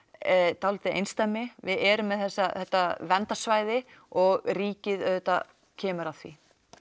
dálítið einsdæmi við erum með þetta verndarsvæði og ríkið auðvitað kemur að því